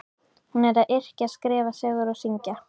Hún er að yrkja, skrifa sögur og syngja.